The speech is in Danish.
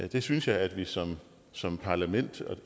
det synes jeg at vi som som parlament